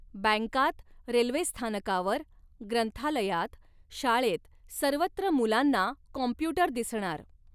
बँकांत, रेल्वेस्थानकावर, ग्रंथालयात, शाळेत सर्वत्र मुलांना कॉम्प्युटर दिसणार.